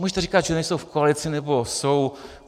Můžete říkat, že nejsou v koalici, nebo jsou.